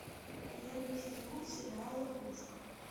первый сезон сериал ловушка